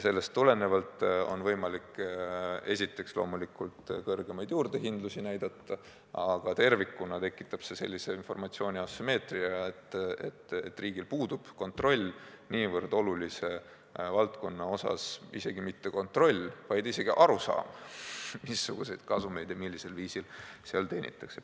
Sellest tulenevalt on võimalik esiteks loomulikult kõrgemaid juurdehindlusi näidata, aga tervikuna tekitab see sellise informatsiooni asümmeetria, et riigil puudub kontroll niivõrd olulise valdkonna üle, isegi mitte ainult kontroll, vaid ka arusaam, missuguseid kasumeid ja millisel viisil seal teenitakse.